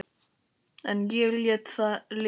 En ég lét það liggja.